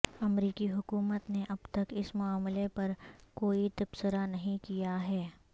امریکی حکومت نے اب تک اس معاملے پر پر کوئی تبصرہ نہیں کیا ہے